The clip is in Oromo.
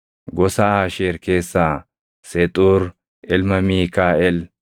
gosa Aasheer keessaa Sexuur ilma Miikaaʼel;